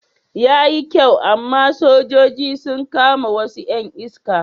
Yayi kyau amma sojoji sun kama wasu 'yan iska.